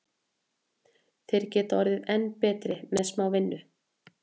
Þeir geta orðið enn betri með smá vinnu.